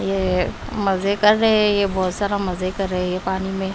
ये मजे कर रहे हैं ये बहुत सारा मजे कर रहे हैं ये पानी में--